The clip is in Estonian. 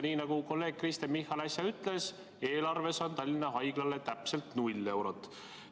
Nii nagu kolleeg Kristen Michal äsja ütles, eelarves on Tallinna Haiglale täpselt 0 eurot.